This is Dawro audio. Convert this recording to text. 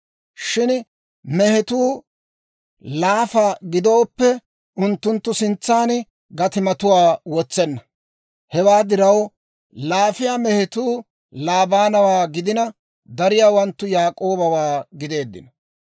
Shin mehetuu laafa gidooppe, unttunttu sintsaan gatimatuwaa wotsenna. Hewaa diraw laafiyaa mehetuu Laabawaa gidina, dariyaawanttu Yaak'oobawaa gideeddino.